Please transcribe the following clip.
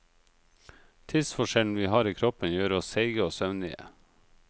Tidsforskjellen vi har i kroppen gjør oss seige og søvnige.